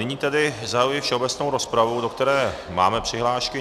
Nyní tedy zahajuji všeobecnou rozpravu, do které máme přihlášky.